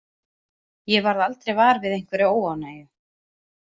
Ég varð aldrei var við einhverja óánægju.